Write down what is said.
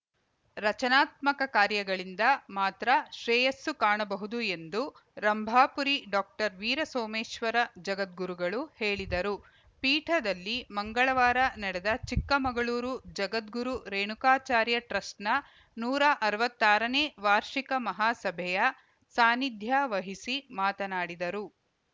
ರಚನಾತ್ಮಕ ಕಾರ್ಯಗಳಿಂದ ಮಾತ್ರ ಶ್ರೇಯಸ್ಸು ಕಾಣಬಹುದು ಎಂದು ರಂಭಾಪುರಿ ಡಾಕ್ಟರ್ ವೀರಸೋಮೇಶ್ವರ ಜಗದ್ಗುರುಗಳು ಹೇಳಿದರು ಪೀಠದಲ್ಲಿ ಮಂಗಳವಾರ ನಡೆದ ಚಿಕ್ಕಮಗಳೂರು ಜಗದ್ಗುರು ರೇಣುಕಾಚಾರ್ಯ ಟ್ರಸ್ಟ್‌ನ ನೂರ ಅರವತ್ತಾರನೇ ವಾರ್ಷಿಕ ಮಹಾಸಭೆಯ ಸಾನ್ನಿಧ್ಯ ವಹಿಸಿ ಮಾತನಾಡಿದರು